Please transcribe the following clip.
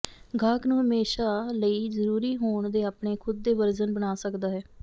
ਗਾਹਕ ਨੂੰ ਹਮੇਸ਼ਾ ਲਈ ਜ਼ਰੂਰੀ ਹੋਰ ਦੇ ਆਪਣੇ ਖੁਦ ਦੇ ਵਰਜਨ ਬਣਾ ਸਕਦਾ ਹੈ